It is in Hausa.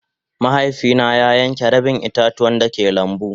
Mahaifi na ya yanke rabin ita-tuwan da ke lambu.